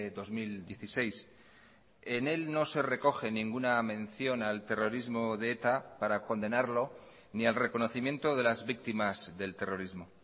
dos mil dieciséis en él no se recoge ninguna mención al terrorismo de eta para condenarlo ni al reconocimiento de las víctimas del terrorismo